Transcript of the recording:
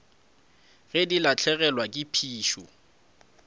ge di lahlegelwa ke phišo